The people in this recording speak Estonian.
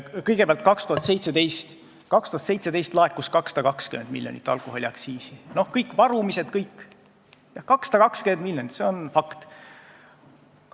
Kõigepealt, 2017. aastal laekus alkoholiaktsiisi 220 miljonit eurot, varumised ja kõik kokku, 220 miljonit, see on fakt.